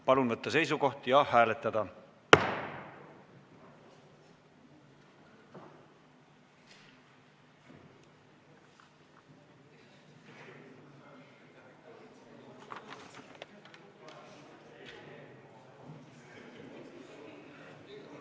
Palun võtta seisukoht ja hääletada!